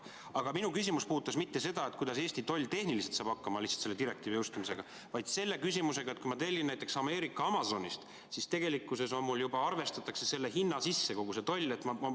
Aga minu küsimus ei puudutanud mitte seda, kuidas Eesti toll tehniliselt hakkama saab lihtsalt selle direktiivi jõustumisega, vaid puudutas seda, et kui ma tellin näiteks Ameerika Amazonist, siis mul juba arvestatakse kogu see tollimaks selle hinna sisse.